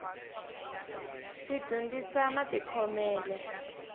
ti dyondzisa matikhomele